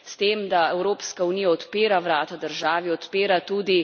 S tem, da Evropska unija odpira vrata državi, odpira tudi...